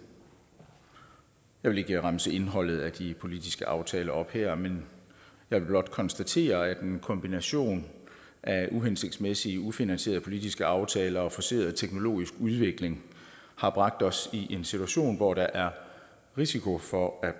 jeg vil ikke remse indholdet af de politiske aftaler op her men men blot konstatere at en kombination af uhensigtsmæssige ufinansierede politiske aftaler og forceret teknologisk udvikling har bragt os i en situation hvor der er risiko for at